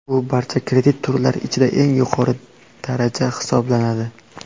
Bu barcha kredit turlari ichida eng yuqori daraja hisoblanadi.